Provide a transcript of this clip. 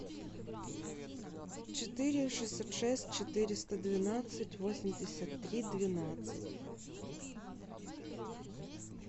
четыре шестьсот шесть четыреста двенадцать восемьдесят три двенадцать